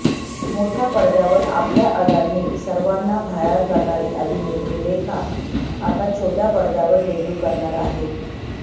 मोठ्या पडद्यावर आपल्या अदांनी सर्वांना घायाळ करणारी अभिनेत्री रेखा आता छोट्या पडद्यावर डेब्यू करणार आहे